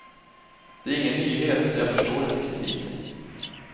Det är ingen nyhet, så jag förstår inte kritiken.